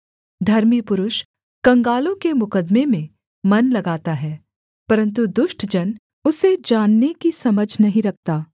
धर्मी पुरुष कंगालों के मुकद्दमे में मन लगाता है परन्तु दुष्ट जन उसे जानने की समझ नहीं रखता